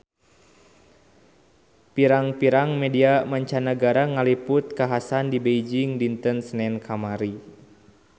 Pirang-pirang media mancanagara ngaliput kakhasan di Beijing dinten Senen kamari